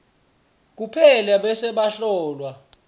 kuphela bese bahlolwa